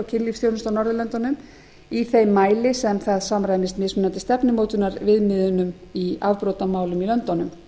kynlífsþjónustu á norðurlöndunum í þeim mæli sem það samræmist mismunandi stefnumótunarviðmiðum í afbrotamálum í löndunum